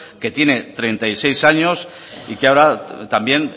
que tiene treinta y seis años y que ahora también